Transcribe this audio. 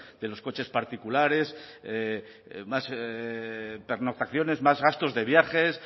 de los coches particulares más pernoctaciones más gastos de viajes